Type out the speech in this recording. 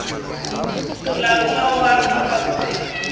molaotheo wa afrika borwa o